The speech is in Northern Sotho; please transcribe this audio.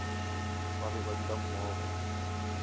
ba be ba dula mmogo